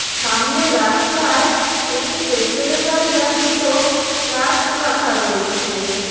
সামনে রাস্তায় একটি পেট্রোল -এর গাড়ি আর দুটো ট্রাক রাখা রয়েছে।